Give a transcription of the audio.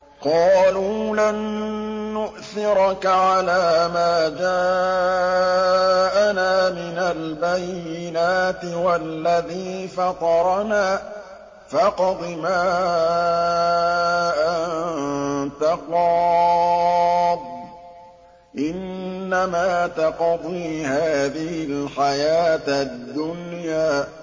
قَالُوا لَن نُّؤْثِرَكَ عَلَىٰ مَا جَاءَنَا مِنَ الْبَيِّنَاتِ وَالَّذِي فَطَرَنَا ۖ فَاقْضِ مَا أَنتَ قَاضٍ ۖ إِنَّمَا تَقْضِي هَٰذِهِ الْحَيَاةَ الدُّنْيَا